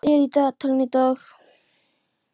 Mars, hvað er í dagatalinu í dag?